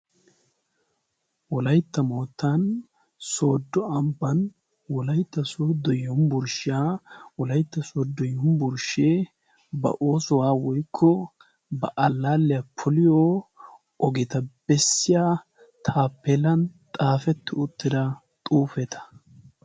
wolaytta moottan soodo ambaan wolaytta soodo yunvurshshiyan, yunvurshshee ba alaaleta bessiyo taapeelay xaafeti uttida xuufeta.